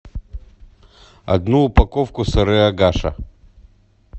одну упаковку сыры агаша